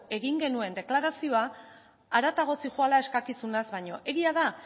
egin genuen deklarazioa haratago zihoala eskakizunaz baino egia da